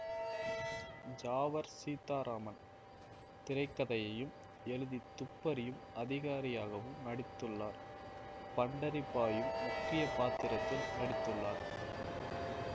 ஜாவர் சீதாராமன் திரை கதையையும் எழுதி துப்பறியும் அதிகாரியாகவும் நடித்துள்ளார் பண்டரிபாயும் முக்கிய பாத்திரத்தில் நடித்துள்ளார்